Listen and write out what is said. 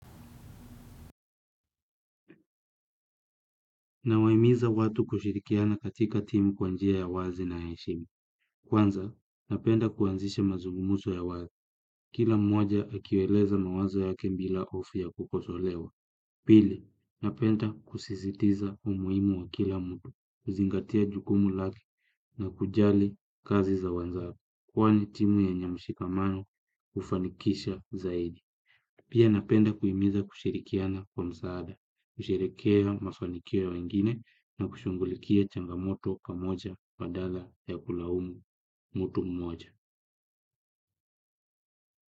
Nawahimiza watu kushirikiana katika timu kwa njia ya wazi na heshima. Kwanza, napenda kuanzisha mazugumuso ya wazi. Kila mmoja akiwaeleza mawazo yake bila hofu ya kukosolewa. Pili, napenda kusisitiza umuhimu wa kila mtu. Kuzingatia jugumu lake na kujali kazi za wenzake. Kwani timu yenye mushikamano hufanikisha zaidi. Pia napenda kuhimiza kushirikiana kwa msaada. Kusherekea mafanikio ya wengine na kushughulikia changamoto pamoja badala ya kulaumu mtu mmoja.